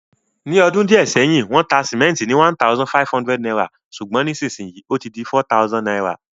Ní odún díẹ̀ sẹ́hìn, wón ta cement ni #1,500 sùgbón nísinsíyì ó ti di #4000